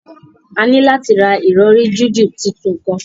A ni lati ra irọri jiju titun kan